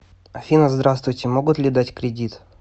афина здравствуйте могут ли дать кредит